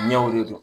Ɲɛw de don